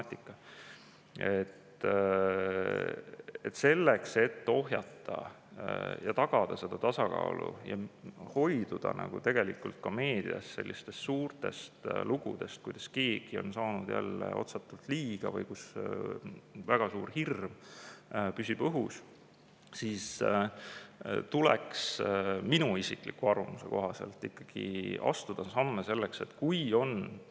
Selleks, et ohjata ja tagada seda tasakaalu ja hoiduda ka meedias sellistest suurtest lugudest, kuidas keegi on saanud jälle otsatult või kus väga suur hirm püsib õhus, tuleks minu isikliku arvamuse kohaselt ikkagi astuda samme selleks, et.